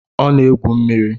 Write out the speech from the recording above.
Ọ na-egwu mmiri